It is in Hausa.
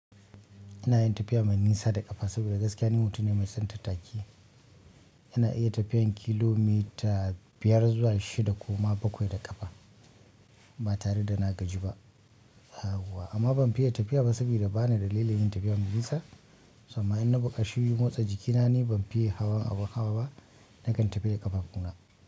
Ina yin tafiya mai nisa da ƙafa saboda gaskiya ni mutum ne mai son tattaki. Ina iya tafiyan kilomita biyar zuwa shida ko ma bakwai da ƙafa, ba tare da na gaji ba yauwa. Amma ban fiya tafiya ba sabida bana dalilin yin tafiya mai nisa, samma in na buƙaci in motsa jikina, ni ban fiye hawan abu hawa ba. Nakan tafi da ƙafa na.